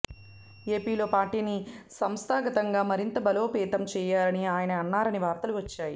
ఏపీలో పార్టీని సంస్థాగతంగా మరింత బలోపేతం చేయాలని ఆయన అన్నారని వార్తలు వచ్చాయి